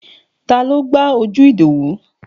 Taló gbá ojú Ìdòwú?